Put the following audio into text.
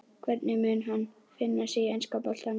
Hvernig mun hann finna sig í enska boltanum?